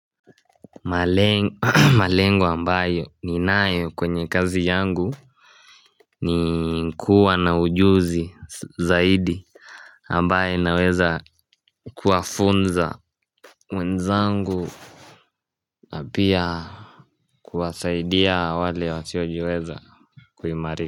Malengo ambayo ninayo kwenye kazi yangu ni kuwa na ujuzi zaidi ambaye naweza kuwafunza wenzangu na pia kuwasaidia wale wasiojiweza kuimari.